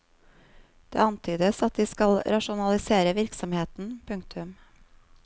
Det antydes at de skal rasjonalisere virksomheten. punktum